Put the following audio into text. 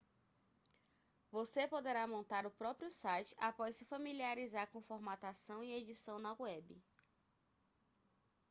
você poderá montar o próprio site após se familiarizar com formatação e edição na web